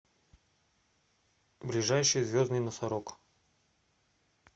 ближайший звездный носорог